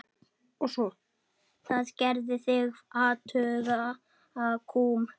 Það gerði þig afhuga kúm.